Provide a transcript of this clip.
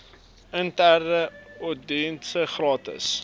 interne ouditdienste gratis